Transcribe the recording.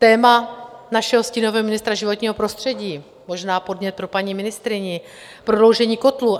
Téma našeho stínového ministra životního prostředí - možná podnět pro paní ministryni - prodloužení kotlů.